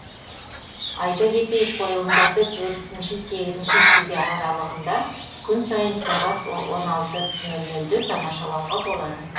айта кетейік қойылымдарды шілде аралығында күн сайын сағат де тамашалауға болады